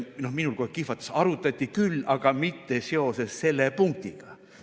Ja minul kohe kihvatas, sest arutati küll, aga mitte seoses selle punktiga.